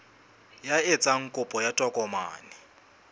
ya etsang kopo ya tokomane